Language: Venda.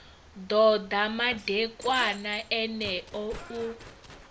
ḓo ḓa madekwana eneo u